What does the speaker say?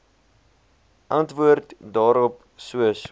antwoord daarop soos